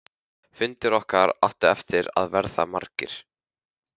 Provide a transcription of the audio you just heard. Fundir okkar áttu eftir að verða margir.